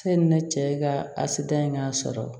Sanni ne cɛ ka a sidiya sɔrɔ